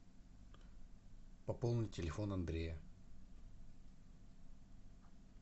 пополни телефон андрея